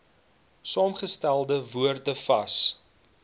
saamgestelde woorde vas